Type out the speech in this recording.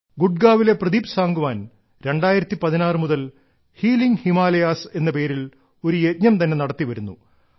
ഗുഡ്ഗാവിലെ പ്രദീപ് സാംഗ്വാൻ 2016 മുതൽ ഹീലിംഗ് ഹിമാലയാസ് എന്ന പേരിൽ ഒരു യജ്ഞം തന്നെ നടത്തി വരുന്നു